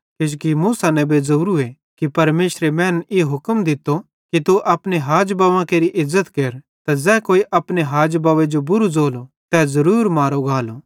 किजोकि मूसा नेबे ज़ोरूए कि परमेशरे सारी मैनन् ई हुक्म दित्तो कि तू अपने हाज बव्वेरी केरि इज़्ज़त केर त ज़ै कोई अपने हाज बव्वे जो बुरू ज़ोलो तै ज़रूर मारो गालो